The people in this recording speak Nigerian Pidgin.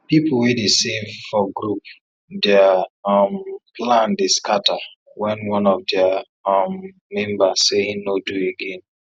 people wey dey save for group their um plan dey scatter wen one of theiir um member say him no do again